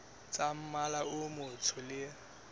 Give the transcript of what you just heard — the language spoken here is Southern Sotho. tsa mmala o motsho le